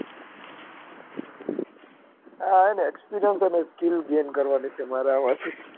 આ હે ને experience અને skill gain કરવાની છે મારે આમાથી